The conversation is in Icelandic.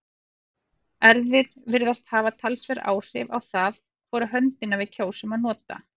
erfðir virðast hafa talsverð áhrif á það hvora höndina við kjósum að nota